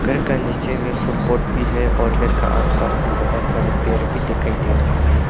घर का नीचे में फुल पॉट भी है और घर के आसपास बहुत सारे पेड़ भी दिखाई दे रहे हैं।